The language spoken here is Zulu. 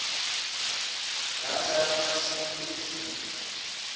data yamatemu ezilimi